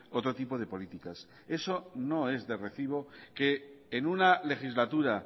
otro tipo de políticas eso no es de recibo que en una legislatura